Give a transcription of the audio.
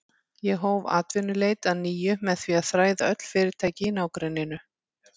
Ég hóf atvinnuleit að nýju með því að þræða öll fyrirtæki í nágrenninu.